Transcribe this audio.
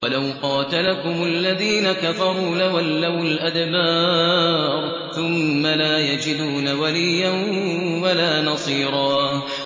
وَلَوْ قَاتَلَكُمُ الَّذِينَ كَفَرُوا لَوَلَّوُا الْأَدْبَارَ ثُمَّ لَا يَجِدُونَ وَلِيًّا وَلَا نَصِيرًا